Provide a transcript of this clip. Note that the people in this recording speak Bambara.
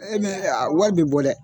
aa wari bi bɔ dɛ.